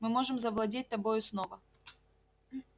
мы можем завладеть тобою снова